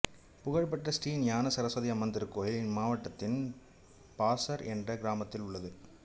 புகழ்பெற்ற ஸ்ரீ ஞான ஸரஸ்வதி அம்மன் திருக்கோவில் இம்மாவட்டத்தின் பாஸர் என்ற கிராமத்தில் உள்ளது